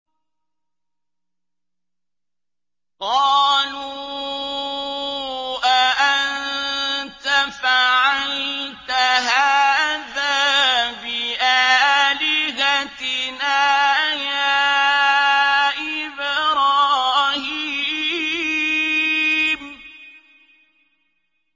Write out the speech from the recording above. قَالُوا أَأَنتَ فَعَلْتَ هَٰذَا بِآلِهَتِنَا يَا إِبْرَاهِيمُ